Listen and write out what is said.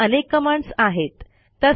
अशा अनेक कमांडस आहेत